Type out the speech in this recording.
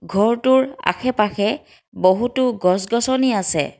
ঘৰটোৰ আশে পাশে বহুতো গছ গছনি আছে।